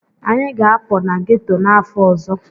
Anyị ga-apụ na ghetto n'afọ ọzọ.